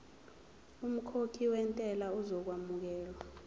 umkhokhi wentela uzokwamukelwa